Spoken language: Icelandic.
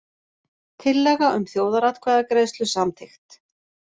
Tillaga um þjóðaratkvæðagreiðslu samþykkt